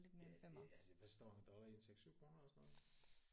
Ja det altså hvad står en dollar i en 6 7 kroner eller sådan noget